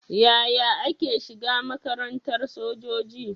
Yaya ake shiga makarantar sojoji?